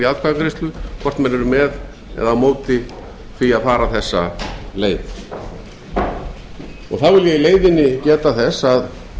atkvæðagreiðslu hvort menn eru með eða móti því að fara þessa leið þá vil ég í leiðinni geta þess að